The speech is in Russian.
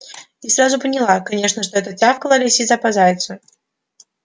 и сразу поняла конечно что это тявкала лисица по зайцу